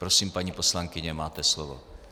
Prosím, paní poslankyně, máte slovo.